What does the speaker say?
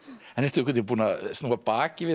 en ertu að snúa baki við